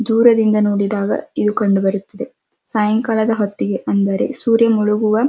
ದೂರದಿಂದ ನೋಡುವಾಗ ಇದು ಕಂಡು ಬರುತ್ತದೆ ಸಾಯಂಕಾಲ ಹೊತ್ತಿಗೆ ಅಂದರೆ ಸೂರ್ಯ ಮುಳುಗುವ --